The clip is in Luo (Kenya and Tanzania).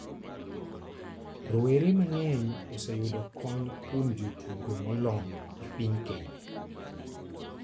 Rowere mang'eny oseyudo kony kuom jotugo molony e piny Kenya.